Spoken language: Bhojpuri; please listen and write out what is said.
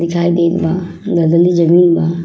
दिखाई देत बा। लागले जमीन बा।